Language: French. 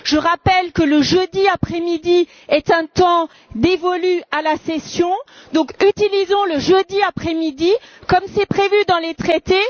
Je rappelle que le jeudi après midi est un temps dévolu à la session, donc utilisons le jeudi après midi comme c'est prévu dans les traités.